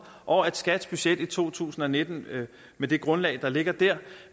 og at skats budget i to tusind og nitten med det grundlag der ligger der